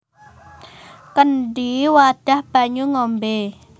Kendhi wadhah banyu ngombé